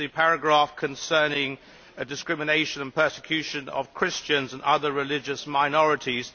It is the paragraph concerning the discrimination and persecution of Christians and other religious minorities.